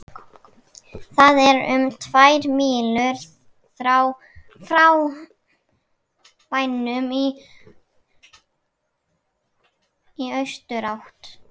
Það er um tvær mílur frá bænum í austurátt.